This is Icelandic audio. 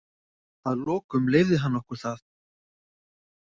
Að lokum leyfði hann okkur það.